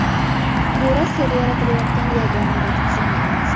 Bu Rossiyada yaratilayotgan yagona vaksina emas.